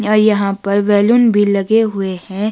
या यहां पर बैलून भी लगे हुए हैं।